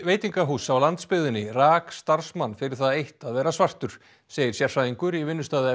veitingahúss á landsbyggðinni rak starfsmann fyrir það eitt að vera svartur segir sérfræðingur í